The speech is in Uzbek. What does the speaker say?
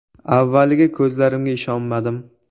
“Avvaliga ko‘zlarimga ishonmadim.